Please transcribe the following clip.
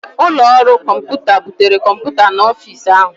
Ụlọ ọrụ kọmpụta butere kọmpụta n'ọfịs ahụ